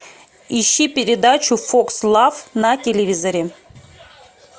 ищи передачу фокс лав на телевизоре